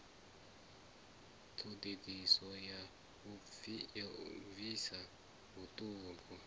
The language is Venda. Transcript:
ṱhodisiso ya u pfisa vhuṱungu